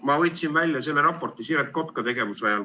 Ma võtsin välja raporti komisjoni tegevusest Siret Kotka ajal.